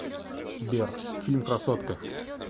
сбер фильм красотка